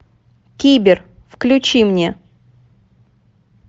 кибер включи мне